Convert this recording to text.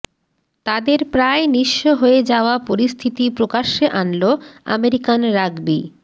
তাদের প্রায় নিঃস্ব হয়ে যাওয়া পরিস্থিতি প্রকাশ্যে আনলো আমেরিকান রাগবি